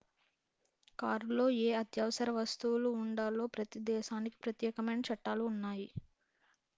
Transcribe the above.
కారులో ఏ అత్యవసర వస్తువులు ఉండాలో ప్రతి దేశానికి ప్రత్యేకమైన చట్టాలు ఉన్నాయి